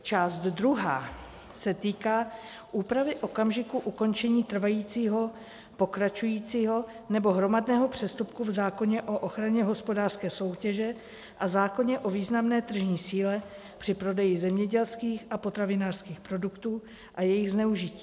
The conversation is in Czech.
Část druhá se týká úpravy okamžiku ukončení trvajícího, pokračujícího nebo hromadného přestupku v zákoně o ochraně hospodářské soutěže a zákoně o významné tržní síle při prodeji zemědělských a potravinářských produktů a jejich zneužití.